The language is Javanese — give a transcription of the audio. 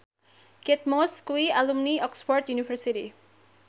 Kate Moss kuwi alumni Oxford university